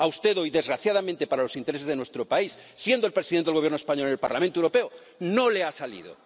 A usted hoy, desgraciadamente para los intereses de nuestro país, siendo el presidente del Gobierno español en el Parlamento Europeo, no le ha salido.